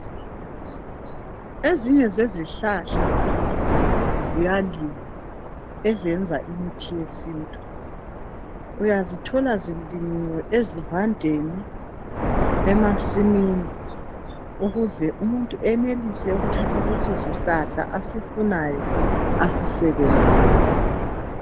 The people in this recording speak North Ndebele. Ezinye zezihlahla ziyalinywa ezenza imithi yesintu. Uyazithola zilinyiwe ezivandeni emasimini ukuze umuntu enenelise ukuthathta leso sihlahla asifunayo asisebenzise